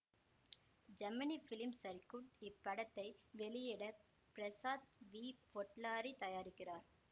Gemini film circuit இப்படத்தை வெளியிட Prasad V Potluri தயாரிக்கிறார்